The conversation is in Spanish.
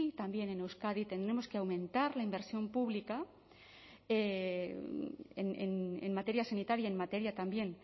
también en euskadi tendremos que aumentar la inversión pública en materia sanitaria en materia también